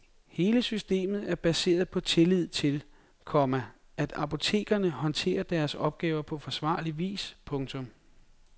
Hele systemet er baseret på tillid til, komma at apotekerne håndterer deres opgave på forsvarlig vis. punktum